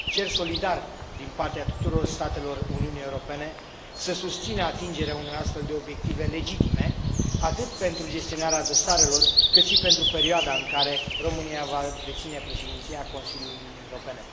Cer solidar din partea tuturor statelor Uniunii Europene să susțină atingerea unor astfel de obiective legitime, atât pentru gestionarea dosarelor, cât și pentru perioada în care România va deține Președinția Consiliului Uniunii Europene.